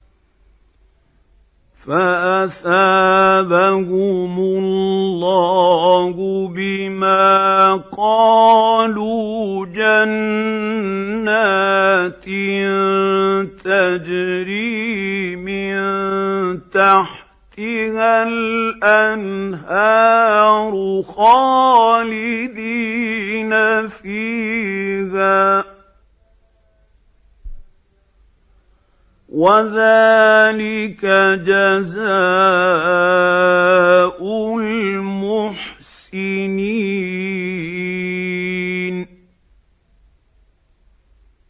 فَأَثَابَهُمُ اللَّهُ بِمَا قَالُوا جَنَّاتٍ تَجْرِي مِن تَحْتِهَا الْأَنْهَارُ خَالِدِينَ فِيهَا ۚ وَذَٰلِكَ جَزَاءُ الْمُحْسِنِينَ